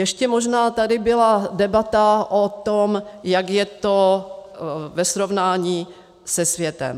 Ještě možná tady byla debata o tom, jak je to ve srovnání se světem.